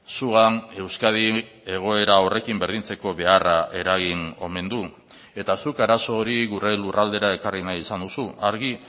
zugan euskadi egoera horrekin berdintzeko beharra eragin omen du eta zuk arazo hori gure lurraldera ekarri nahi izan duzu argi